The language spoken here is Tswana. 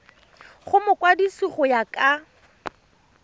go mokwadise go ya ka